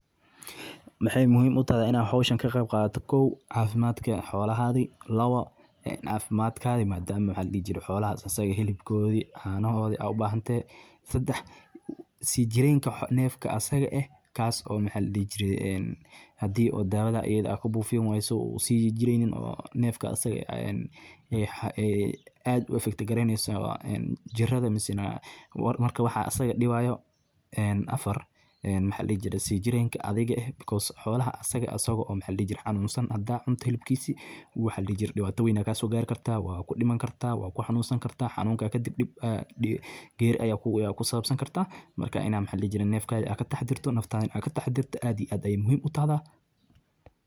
Mxay muhim utahay iyay hoshan kaqeb qadato kow cafimadka xolahada lawo cafimadka madama mxa ladihijire hilibkodi, canahodi u bahantahay. sedex sijiranka nefka asaga eh o ah mxa ladihijire en hadi o dawa da hada kubufin ways o usijireynin nefka asaga eeh ee ad u efict gareyneso en jirada mise, war marka mxa asaga dipayo. En afar mxa ladihi jire sijedka athiga eh xola xanunsan hada cute hilibkise wxa ladihi jire dipta wen aa kasogari karta wakudiman karta wa kuxanunsan karta, xaunuka kadip geri aya kusabsankara wa ina mxa ladihijire naftada ina kataxadarto and iyo ad ay muhim utahda